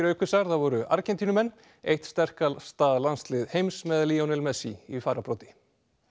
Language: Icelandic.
aukvisar það voru Argentínumenn eitt sterkasta landslið heims með messi í farabroddi